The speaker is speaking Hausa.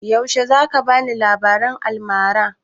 Yaushe za ka bani labaran almara?